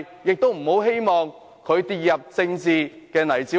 我們希望他不要跌入政治泥沼中。